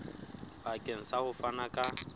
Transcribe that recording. bakeng sa ho fana ka